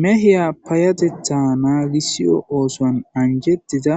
Mehe payatetha nagisiyo oothuwan anjetido